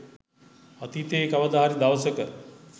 අතීතයේ කවද හරි දවසක